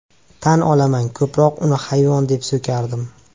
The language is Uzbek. Tan olaman ko‘proq uni hayvon deb so‘kardim.